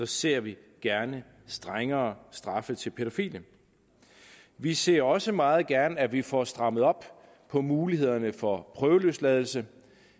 ser vi gerne strengere straffe til pædofile vi ser også meget gerne at vi får strammet op på mulighederne for prøveløsladelse